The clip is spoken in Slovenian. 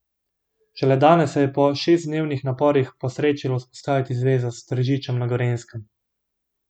Šele danes se je po šestdnevnih naporih posrečilo vzpostaviti zvezo s Tržičem na Gorenjskem.